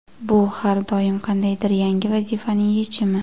Bu har doim qandaydir yangi vazifaning yechimi.